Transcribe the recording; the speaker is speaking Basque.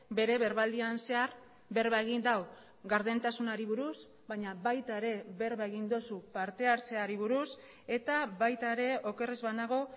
bere berbaldian zehar berba egin du gardentasunari buruz baina baita ere berba egin duzu partehartzeari buruz eta baita ere oker ez banago